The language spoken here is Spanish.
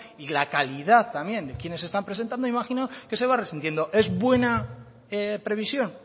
y la calidad también de quienes se están presentando imagino que se va resintiendo es buena previsión